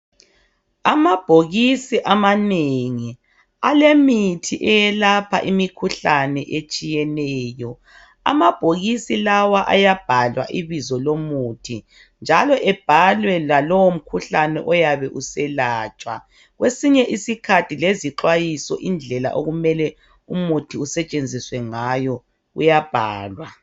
Amabhokisi amanengi alemithi eyelapha imikhuhlane etshiyeneyo. Amabhokisi lawa ayabhalwa ibizo lomuthi njalo ebhalwe lalo mkhuhlune oyabe uselatshwa. Kwesinye isikhathi lezixwayiso indlela okumele umuthi usetshenziswe ngayo uyabhalwa.